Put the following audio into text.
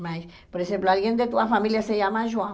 Mas, por exemplo, alguém de tua família se chama João.